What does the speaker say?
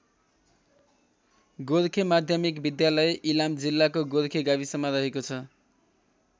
गोर्खे माध्यमिक विद्यालय इलाम जिल्लाको गोर्खे गाविसमा रहेको छ।